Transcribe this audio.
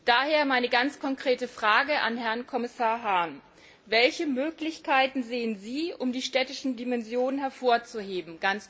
Daher meine ganz konkrete Frage an Herrn Kommissar Hahn Welche Möglichkeiten sehen Sie, um die städtische Dimension hervorzuheben?